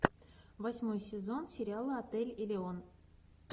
восьмой сезон сериала отель элеон